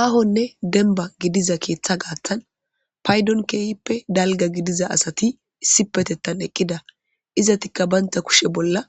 Aahonne denba gidiza keeththa gaattan paydon keeyippe dalga gidiza asati issi petettan eqqida izatikka baynta kushe bolla